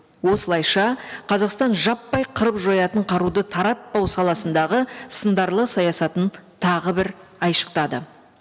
осылайша қазақстан жаппай қырып жоятын қаруды таратпау саласындағы сындарлы саясатын тағы бір айшықтады